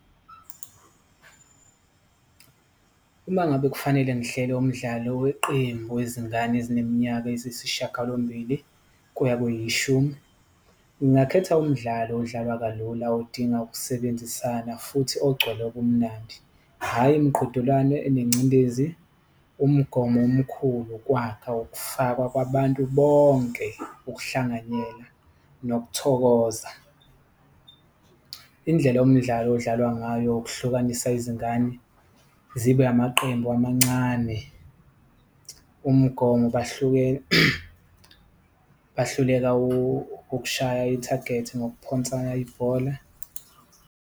Uma ngabe kufanele ngihlele umdlalo weqembu wezingane ezineminyaka eziyisishiyagalombili kuya kweyishumi, ngingakhetha umdlalo odlalwa kalula, odinga ukusebenzisana futhi ogcwele ubumnandi, hhayi mqhudelwano onengcindezi. Umgomo omkhulu kwakha, ukufakwa kwabantu bonke, ukuhlanganyela nokuthokoza, indlela umdlalo odlalwa ngayo ukuhlukanisa izingane zibe amaqembu amancane, umgomo bahluke, bahluleka ukushaya ithagethi ngokuphonsa ibhola.